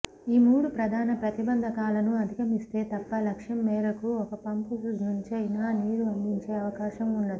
ఈ మూడు ప్రధాన ప్రతిబంధకాలను అధిగమిస్తే తప్ప లక్ష్యం మేరకు ఒక పంపు నుంచైనా నీరు అందించే అవకాశం ఉండదు